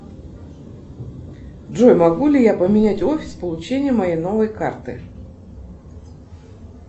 джой могу ли я поменять офис получения моей новой карты